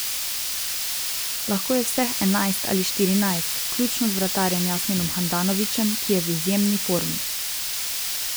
Lahko je vseh enajst ali štirinajst, vključno z vratarjem Jasminom Handanovićem, ki je v izjemni formi.